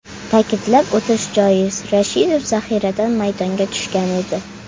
Ta’kidlab o‘tish joiz, Rashidov zaxiradan maydonga tushgan edi.